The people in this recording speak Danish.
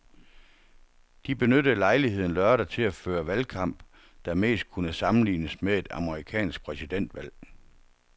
De benyttede lejligheden lørdag til at føre valgkamp, der mest kunne sammenlignes med et amerikansk præsidentvalg.